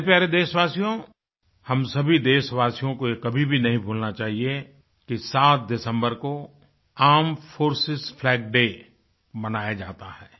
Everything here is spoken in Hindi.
मेरे प्यारे देशवासियो हम सभी देशवासियों को ये कभी भी नहीं भूलना चाहिए कि 7 दिसम्बर को आर्मेड फोर्सेस फ्लैग डे मनाया जाता है